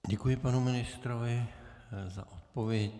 Děkuji panu ministrovi za odpověď.